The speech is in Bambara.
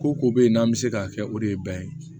Ko ko bɛ yen n'an bɛ se k'a kɛ o de ye bɛnɛn ye